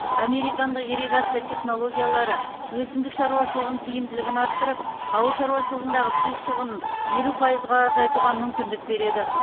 американдық ирригация технологиялары өсімдік шаруашылығының тиімділігін арттырып ауыл шаруашылығындағы су шығынын елу пайызға азайтуға мүмкіндік береді